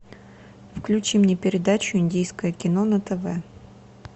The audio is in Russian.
включи мне передачу индийское кино на тв